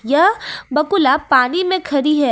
यह बकुला पानी में खड़ी है।